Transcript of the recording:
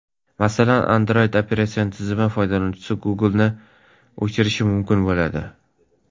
Masalan, Android operatsion tizimi foydalanuvchisi Google’ni o‘chirishi mumkin bo‘ladi.